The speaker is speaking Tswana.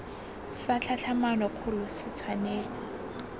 sa tlhatlhamano kgolo se tshwanetse